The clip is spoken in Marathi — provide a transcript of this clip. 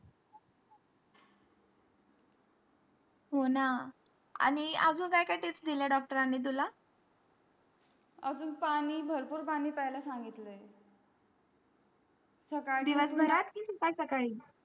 होणं आणि अजून काय काय तेच दिल्या doctor अन नि तुला आगा पाणी भरपूर पाणी पेय ला सांगितलं आहे दिवसभरात कि सकाळी